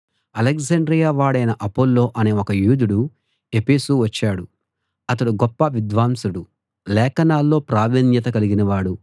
Alexandria వాడైన Apollo అనే ఒక యూదుడు ఎఫెసు వచ్చాడు అతడు గొప్ప విద్వాంసుడు లేఖనాల్లో ప్రావీణ్యత కలిగినవాడు